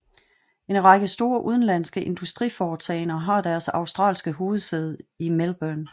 En række store udenlandske industriforetagender har deres australske hovedsæde i Melbourne